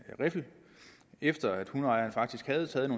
riffel efter at hundeejeren faktisk havde taget